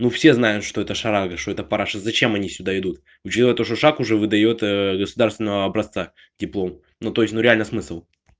ну все знают что эта шарага что это параша зачем они сюда идут учитывая то что шаг уже выдаёт государственного образца диплом ну то есть ну реально смысл